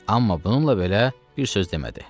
Amma bununla belə bir söz demədi.